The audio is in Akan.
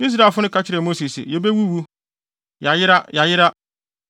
Israelfo no ka kyerɛɛ Mose se, “Yebewuwu! Yɛayera, yɛayera!